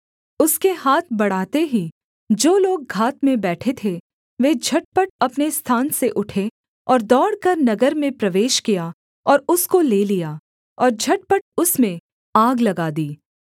उसके हाथ बढ़ाते ही जो लोग घात में बैठे थे वे झटपट अपने स्थान से उठे और दौड़कर नगर में प्रवेश किया और उसको ले लिया और झटपट उसमें आग लगा दी